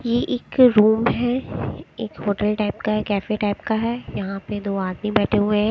ये एक रूम है एक होटल टाइप का कैफ़े टाइप का है यहाँ पे दो आदमी बैठे हुए है।